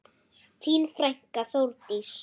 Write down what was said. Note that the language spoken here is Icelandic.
Þín frænka, Þórdís.